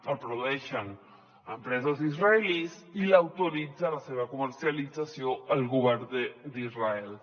el produeixen empreses israelianes i l’autoritza la seva comercialització el govern d’israel